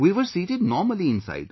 We were seated normally inside